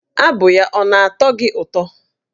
Abụ ya ọ na-atọ gị ụtọ?